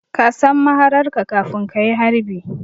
Ka san mahararka kafin ka yi harbi